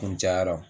Kun cayara